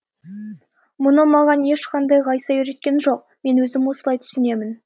мұны маған ешқандай ғайса үйреткен жоқ мен өзім осылай түсінемін